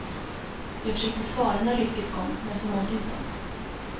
Jag försökte svara när rycket kom, men förmådde inte.